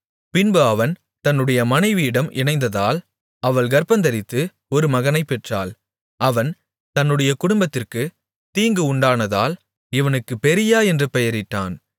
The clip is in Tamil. பின்பு அவன் தன்னுடைய மனைவியிடம் இணைந்ததால் அவள் கர்ப்பந்தரித்து ஒரு மகனைப் பெற்றாள் அவன் தன்னுடைய குடும்பத்திற்குத் தீங்கு உண்டானதால் இவனுக்கு பெரீயா என்று பெயரிட்டான்